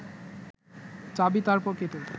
চাবি তাঁর পকেটে